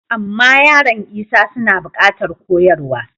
Amma yaran Isa suna buƙatar koyarwa.